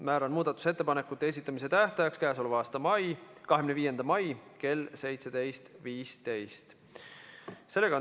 Määran muudatusettepanekute esitamise tähtajaks k.a 25. mai kell 17.15.